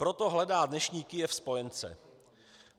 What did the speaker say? Proto hledá dnešní Kyjev spojence.